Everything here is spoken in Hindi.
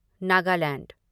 नागालैंड